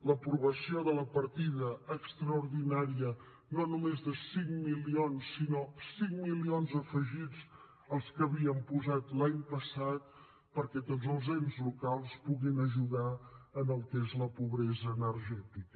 l’aprovació de la partida extraordinària no només de cinc milions sinó de cinc milions afegits els que havíem posat l’any passat perquè tots els ens locals puguin ajudar en el que és la pobresa energètica